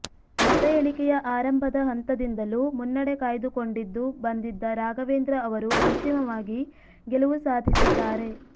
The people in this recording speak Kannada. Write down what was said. ಮತಎಣಿಕೆಯ ಆರಂಭದ ಹಂತದಿಂದಲೂ ಮುನ್ನಡೆ ಕಾಯ್ದುಕೊಂಡಿದ್ದು ಬಂದಿದ್ದ ರಾಘವೇಂದ್ರ ಅವರು ಅಂತಿಮವಾಗಿ ಗೆಲುವು ಸಾಧಿಸಿದ್ದಾರೆ